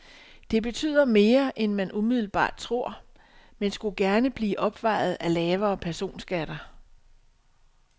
Det betyder mere, end man umiddelbart tror, men skulle gerne blive opvejet af lavere personskatter.